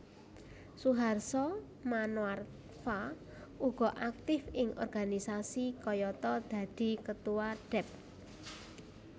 Suharso Manoarfa uga aktif ing organisasi kayata dadi Ketua Dep